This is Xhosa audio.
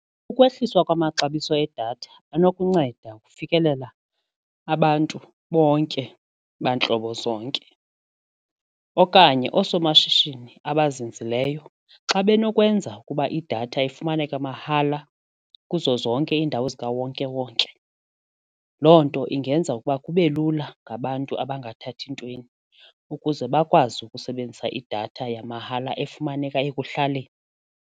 Kukwehliswa kwamaxabiso edatha anokunceda ukufikelela abantu bonke bantlobo zonke okanye oosomashishini abazinzileyo xa benokwenza ukuba idatha ifumaneka mahala kuzo zonke iindawo zikawonkewonke loo nto ingenza ukuba kube lula ngabantu abangathathi ntweni ukuze bakwazi ukusebenzisa idatha yamahala efumaneka ekuhlaleni.